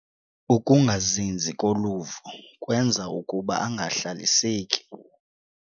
Ukungazinzi koluvo kwenza ukuba angahlaliseki.